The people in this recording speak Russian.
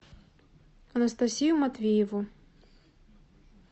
анастасию матвееву